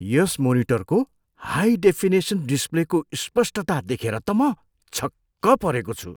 यस मोनिटरको high definition डिस्प्लेको स्पष्टता देखेर त म छक्क परेको छु।